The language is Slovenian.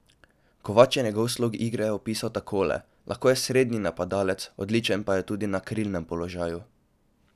Kovač je njegov slog igre opisal takole: 'Lahko je srednji napadalec, odličen pa je tudi na krilnem položaju.